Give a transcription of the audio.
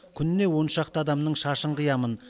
күніне оншақты адамның шашын қиямын